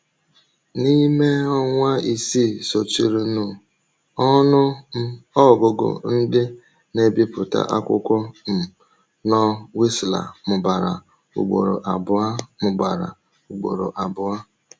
N’ime ọnwa isii sochirinụ, ọnụ um ọgụgụ ndị na-ebipụta akwụkwọ um nọ Wisła mụbara ugboro abụọ. mụbara ugboro abụọ.